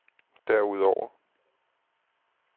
derudover